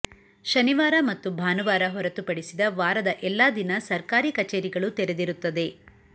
ಶನಿವಾರ ಮತ್ತು ಭಾನುವಾರ ಹೊರತು ಪಡಿಸಿದ ವಾರದ ಎಲ್ಲ ದಿನ ಸರ್ಕಾರಿ ಕಚೇರಿಗಳು ತೆರೆದಿರುತ್ತದೆ